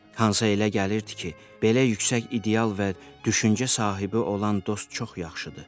Hansa elə gəlirdi ki, belə yüksək ideal və düşüncə sahibi olan dost çox yaxşıdır.